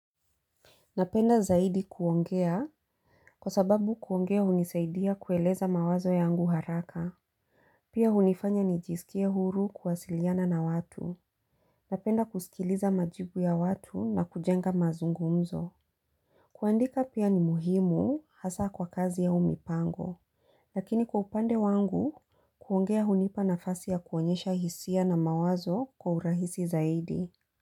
Napenda zaidi kuongea kwa sababu kuongea hunisaidia kueleza mawazo yangu haraka. Pia hunifanya nijisikie huru kuwasiliana na watu. Napenda kusikiliza majibu ya watu na kujenga mazungumzo. Kuandika pia ni muhimu hasa kwa kazi ya au mipango. Lakini kwa upande wangu kuongea hunipa na fasi ya kuonyesha hisia na mawazo kwa urahisi zaidi.